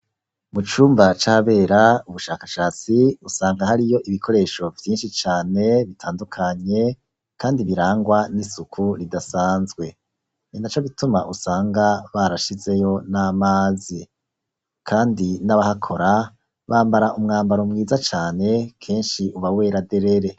Mu cumba cabera ubushakashatsi usanga hari yo ibikoresho vvinshi cane bitandukanye kandi birangwa n'isuku ridasanzwe, ni na co bituma usanga barashizeyo n'amazi, kandi n'abahakora bambara umwambaro mwiza cane kenshi ubaweraderere.